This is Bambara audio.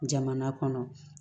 Jamana kɔnɔ